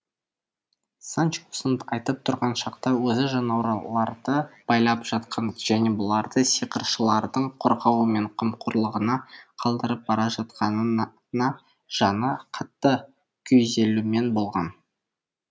санчо осыны айтып тұрған шақта өзі жануарларды байлап жатқан және бұларды сиқыршылардың қорғауы мен қамқорлығына қалдырып бара жатқанына жаны қатты күйзелумен болған